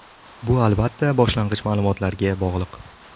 Bu albatta boshlang‘ich ma’lumotlarga bog‘liq.